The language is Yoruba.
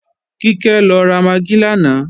Kíkẹ́ lọ ra magí lánàá